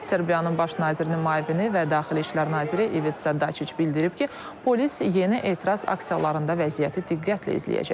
Serbiyanın baş nazirinin müavini və daxili İşlər naziri İvit Səddaçic bildirib ki, polis yeni etiraz aksiyalarında vəziyyəti diqqətlə izləyəcək.